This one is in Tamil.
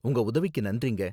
உங்க உதவிக்கு நன்றிங்க.